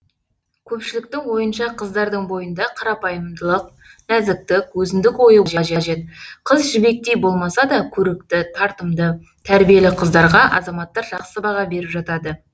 көпшіліктің ойынша қыздардың бойында қарапайымдылық нәзіктік өзіндік ойы болу қажет қыз жібектей болмаса да көрікті тартымды тәрбиелі қыздарға азаматтар жақсы баға беріп жатады